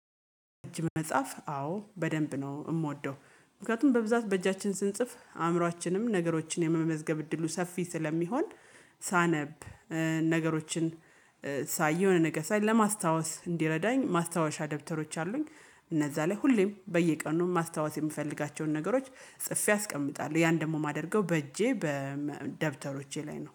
በእጅ መጻፍ አዎ በደንብ ነው የምወደው ምክንያቱም በብዛት በእጃችን ስንጽፍ አእምሮአችንም ነገሮችን የመመዝገብ እድሉ ሰፊ ስለሚሆን። ሳነብ ነገሮችን ሳይ የሆነ ነገር ሳይ ለማስታወስ እንዲረዳኝ ማስታወሻ ደብተሮች አሉኝ። እነዛ ላይ ሁሌም በየቀኑ ማስታወስ የምፈልጋቸውን ነገሮች ጽፌ አስቀምጣለሁ ያን ደግሞ የማደርገው በእጄ በደብተሮቼ ላይ ነው